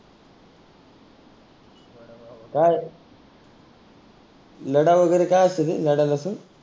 काय? लडा वगैरे काय असतं ते लडा लसुन.